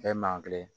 Bɛɛ man kelen